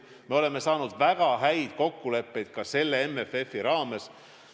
Me oleme saanud väga häid kokkuleppeid ka selle MFF-i raames.